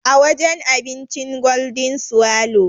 A wajen abincin Golden swallow.